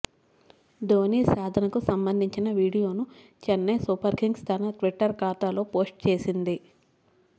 ధోనీ సాధనకు సంబంధించిన వీడియోను చెన్నె సూపర్ కింగ్స్ తన ట్విటర్ ఖాతాలో పోస్ట్ చేసింది